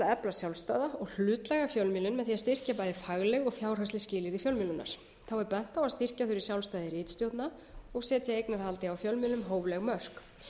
efla sjálfstæða og hlutlæga fjölmiðlun með því að styrkja bæði fagleg og fjárhagsleg skilyrði fjölmiðlunar þá er bent á að styrkja þurfi sjálfstæði ritstjórna og setja eignarhaldi á fjölmiðlum hófleg mörk þá